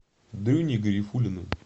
дрюней гарифуллиным